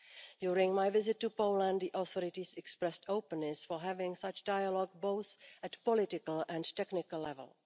During my visit to Poland, the authorities expressed openness for having such dialogue both at political and technical level.